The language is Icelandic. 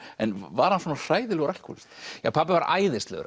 en var hann svona hræðilegur alkóhólisti pabbi var æðislegur